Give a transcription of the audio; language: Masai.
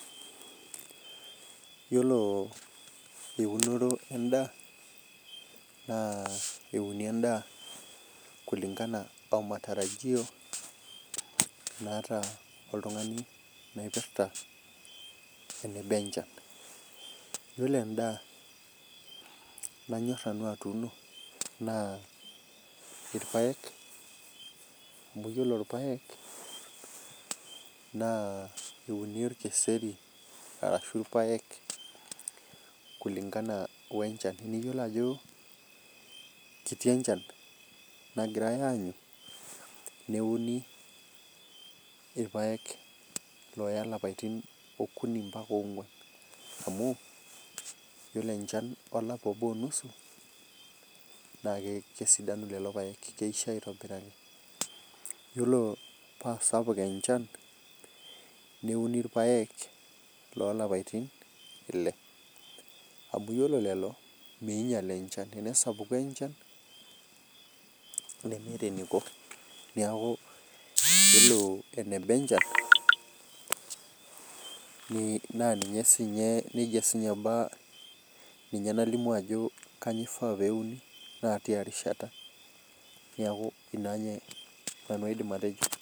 Yiolo eunoto endaa naa euni endaa kulingana matarajio nataka oltung'ani naipirta eneba enchan yiolo endaa nanyor nanu atuno naa irpaek amu yiolo irpaek naa euni orkeseri arashu irpaek kulingana wee enchan iyiolo Ajo ketii enchan nagirai aanyu neuni irpaek loya lapaitin okuni ombaka ong'uan amu iyiolo enchan olapa obo onusu naa kesidanu lelo paek keisho aitobiraki yiolo paa sapuk enchan neuni irpaek loo laipatin ele amu ore lelo ninyial enchan tene sapuku enchan nemeeta eniko neeku yiolo eneba enchan ninye naifaa pelimu Ajo kainyio euni naa tia rishata neeku ena nanu aidim atejo